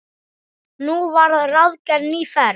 Nú var ráðgerð ný ferð.